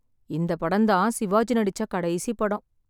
இந்த படம் தான் சிவாஜி நடிச்ச கடைசி படம்.